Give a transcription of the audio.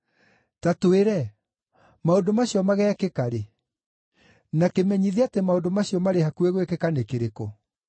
“Ta twĩre, maũndũ macio mageekĩka rĩ? Na kĩmenyithia atĩ maũndũ macio marĩ hakuhĩ gwĩkĩka nĩ kĩrĩkũ?”